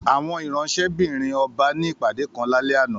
Àwọn ìránṣẹ́-bìrin ọba ní ìpàdé kan lálé àná